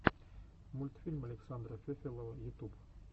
мультфильм александра фефелова ютуб